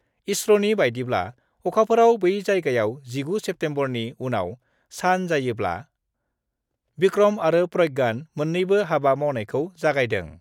इसर'नि बायदिब्ला, अखाफोराव बै जायगायाव 19 सेप्तेम्बरनि उनाव सान जायोब्ला, भिक्रम आरो प्रज्ञान मोन्नैबो हाबा मावनायखौ जागायदों।